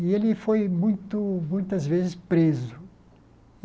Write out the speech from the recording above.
E ele foi muito muitas vezes preso.